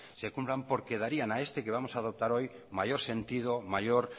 se cumplan porque darían a este que vamos a adoptar mayor sentido mayor